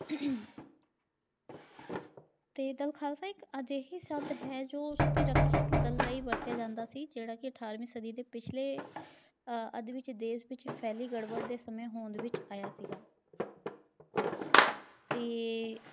ਤੇ ਦਲ ਖਾਲਸਾ ਇੱਕ ਅਜੇਹੀ ਸਦ ਹੈ ਜੋ ਉਸਦੀ ਰੱਖਿਅਕ ਦਲ ਲਈ ਵਰਤਿਆ ਜਾਂਦਾ ਸੀ, ਜਿਹੜਾ ਕੀ ਅਠਾਰਵੀਂ ਸਦੀ ਦੇ ਪਿਛਲੇ ਆਹ ਅੱਧ ਵਿਚ ਦੇਸ ਵਿਚ ਫੈਲੀ ਗੜਬੜ ਦੇ ਸਮੇਂ ਹੋਂਦ ਵਿਚ ਆਇਆ ਸੀਗਾ। ਤੇ